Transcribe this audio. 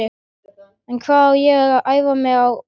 En hvar á ég að æfa mig á píanóið?